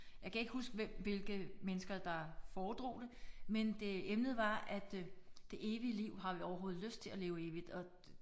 Jeg kan ikke huske hvem hvilke mennesker der foredrog det men det emnet var at det evige liv har vi overhovedet lyst til at leve evigt og